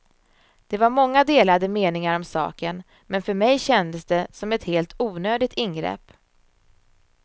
Det var många delade meningar om saken, men för mig kändes det som ett helt onödigt ingrepp.